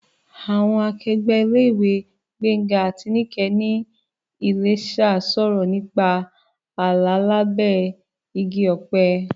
Àwọn akẹgbẹ́ ilé-ìwé Gbénga àti Níkẹ̀ ní Iléṣà sọ̀rọ̀ nípa àlá lábẹ́ igi ọ̀pẹ.